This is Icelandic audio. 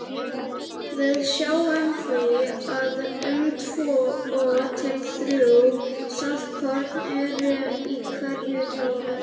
Við sjáum því að um tvö til þrjú saltkorn eru í hverju tári.